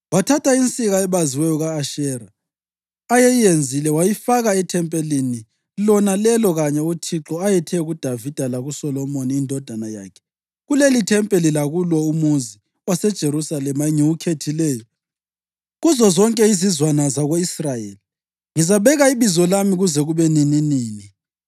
Wathatha insika ebaziweyo ka-Ashera ayeyenzile wayifaka ethempelini, lona lelo kanye uThixo ayethe kuDavida lakuSolomoni indodana yakhe, “Kulelithempeli lakulo umuzi waseJerusalema, engiwukhethileyo kuzozonke izizwana zako-Israyeli, ngizabeka iBizo lami kuze kube nininini.